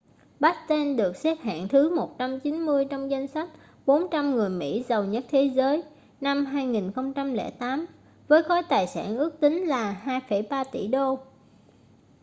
batten được xếp hạng thứ 190 trong danh sách 400 người mỹ giàu nhất thế giới năm 2008 với khối tài sản ước tính là 2,3 tỷ đô